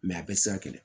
a bɛɛ tɛ se ka kɛlɛ